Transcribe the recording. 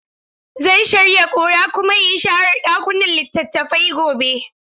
Zan shirya ƙura kuma in share ɗakunan littattafai gobe.